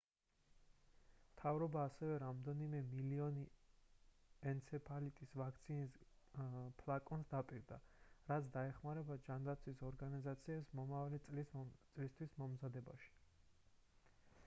მთავრობა ასევე რამდენიმე მილიონი ენცეფალიტის ვაქცინის ფლაკონს დაპირდა რაც დაეხმარება ჯანდაცვის ორგანიზაციებს მომავალი წლისთვის მომზადებაში